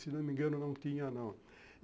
Se não me engano, não tinha, não.